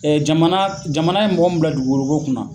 jamana jamana ye mɔgɔ min bila dugukolo ko kunna.